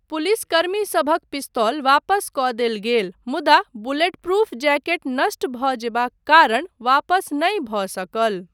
पुलिसकर्मीसभक पिस्तौल वापस कऽ देल गेल मुदा बुलेटप्रूफ जैकेट नष्ट भऽ जेबाक कारण वापस नहि भऽ सकल।